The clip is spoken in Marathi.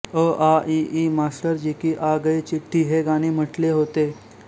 अआइई मास्टरजी की आ गई चिट्ठी हे गाणे म्हटले होते